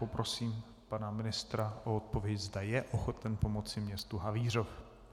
Poprosím pana ministra o odpověď, zda je ochoten pomoci městu Havířov.